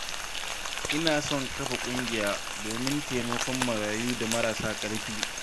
Ina son kafa ƙungiya domin taimakon marayu da marasa ƙarfi.